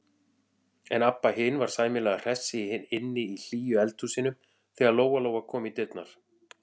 En Abba hin var sæmilega hress inni í hlýju eldhúsinu þegar Lóa-Lóa kom í dyrnar.